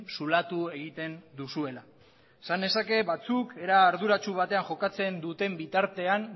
zulatu egiten duzuela esan nezake batzuk era arduratsu batean jokatzen